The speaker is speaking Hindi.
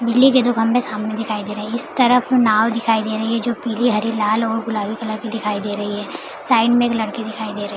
इडली के दो खम्बे सामने दिखाई दे रहे है इस तरफ नाव दिखाई दे रही है जो पीले हरी लाल और गुलाबी कलर की दिखाई दे रही है साइड में एक लड़की दिखाई दे रही है।